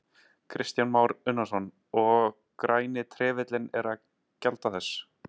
Kristján Már Unnarsson: Og Græni trefillinn er að gjalda þess?